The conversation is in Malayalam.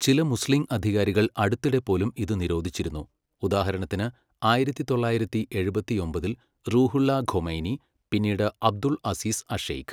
ചില മുസ്ലീം അധികാരികൾ അടുത്തിടെ പോലും ഇത് നിരോധിച്ചിരുന്നു, ഉദാഹരണത്തിന് ആയിരത്തി തൊള്ളായിരത്തി എഴുപത്തിയൊമ്പതിൽ റൂഹുള്ള ഖൊമൈനി, പിന്നീട് അബ്ദുൽ അസീസ് അഷെയ്ഖ്.